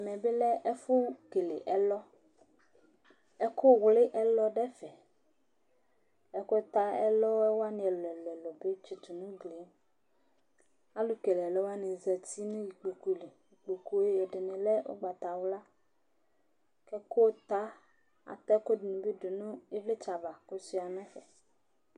Ɛmɛ bi lɛ ɛfʋ kele ɛlɔ Ɛku wli ɛlɔ ɖu ɛfɛ Ɛku ta ɛlɔ waŋi ɛlu ɛlu bi tsitu ŋu ʋglie Alu kele ɛlɔ waŋi zɛti ŋu ikpoku li Ikpoku ɛɖìní lɛ ugbatawla Ɛku ta, ata ɛkʋɛɖiŋi bi ɖu ŋu ivlitsɛ ava kʋ ɔsʋia ŋu ɛfɛ